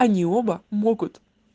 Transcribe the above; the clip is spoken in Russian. они оба могут